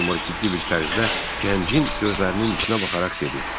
Xanım Bellimor ciddi bir tərzdə gəncin gözlərinin içinə baxaraq dedi.